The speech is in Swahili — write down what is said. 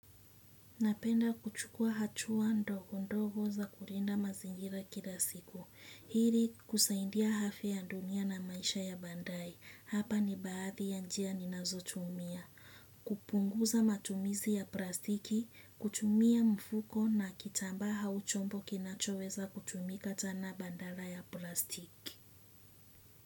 Napenda kuchukua hatua ndogo ndogo za kulinda mazingira kila siku. Ili kusaidia afya ya dunia na maisha ya baadaye. Hapa ni baadhi ya njia ni nazotumia. Kupunguza matumizi ya plastiki, kutumia mfuko na kitamba au chombo kinachoweza kutumika tena badala ya plastiki.